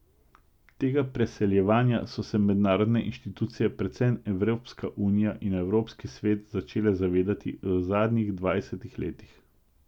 Tega preseljevanja so se mednarodne inštitucije, predvsem Evropska unija in Evropski svet, začele zavedati v zadnjih dvajsetih letih.